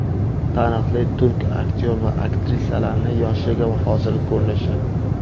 Taniqli turk aktyor va aktrisalarining yoshligi va hozirgi ko‘rinishi .